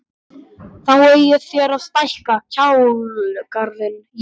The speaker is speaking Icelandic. Þá eigið þér að stækka kálgarðinn Jón!